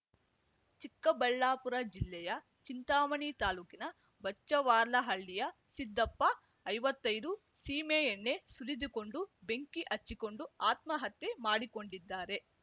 ಚಿಕ್ಕಬಳ್ಳಾಪುರ ಜಿಲ್ಲೆಯ ಚಿಂತಾಮಣಿ ತಾಲೂಕಿನ ಬಚ್ಚವಾರ್ಲಹಳ್ಳಿಯ ಸಿದ್ದಪ್ಪ ಐವತ್ತೈದು ಸೀಮೆಎಣ್ಣೆ ಸುರಿದುಕೊಂಡು ಬೆಂಕಿ ಹಚ್ಚಿಕೊಂಡು ಆತ್ಮಹತ್ಯೆ ಮಾಡಿಕೊಂಡಿದ್ದಾರೆ